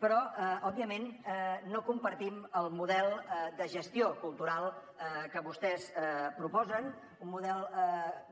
però òbviament no compartim el model de gestió cultural que vostès proposen un model